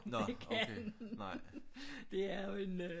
At det kan det er jo en øh